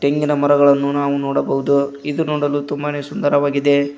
ಇಂದಿನ ಮರಗಳನ್ನು ನಾವು ನೋಡಬಹುದು ಇದು ನೋಡಲು ತುಂಬಾನೇ ಸುಂದರವಾಗಿದೆ.